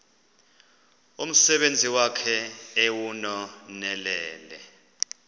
umsebenzi wakhe ewunonelele